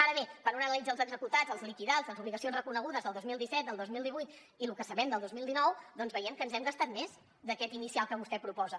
ara bé quan una analitza els executats els liquidats les obligacions reconegudes del dos mil disset del dos mil divuit i lo que sabem del dos mil dinou doncs veiem que hem gastat més d’aquest inicial que vostè proposa